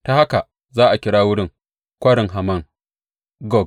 Ta haka za a kira wurin Kwarin Haman Gog.